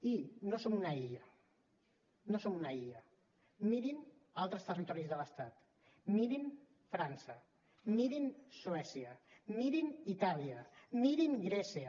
i no som una illa no som una illa mirin altres territoris de l’estat mirin frança mirin suècia mirin itàlia mirin grècia